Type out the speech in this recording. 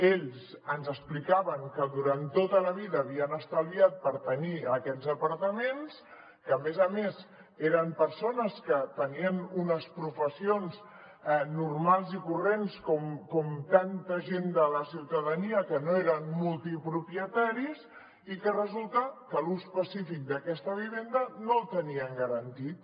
ells ens explicaven que durant tota la vida havien estalviat per tenir aquests apartaments que a més a més eren persones que tenien unes professions normals i corrents com tanta gent de la ciutadania que no eren multipropietaris i que resulta que l’ús pacífic d’aquesta vivenda no el tenien garantit